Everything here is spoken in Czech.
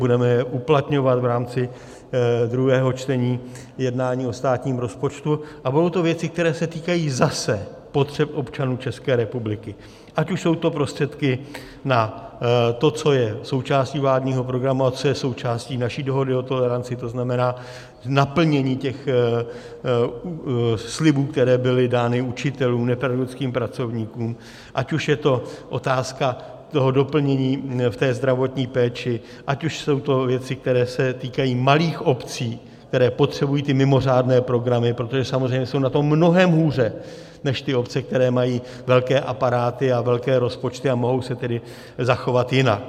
Budeme je uplatňovat v rámci druhého čtení jednání o státním rozpočtu a budou to věci, které se týkají zase potřeb občanů České republiky, ať už jsou to prostředky na to, co je součástí vládního programu a co je součástí naší dohody o toleranci, to znamená naplnění těch slibů, které byly dány učitelům, nepedagogickým pracovníkům, ať už je to otázka toho doplnění v té zdravotní péči, ať už jsou to věci, které se týkají malých obcí, které potřebují ty mimořádné programy, protože samozřejmě jsou na tom mnohem hůře než ty obce, které mají velké aparáty a velké rozpočty, a mohou se tedy zachovat jinak.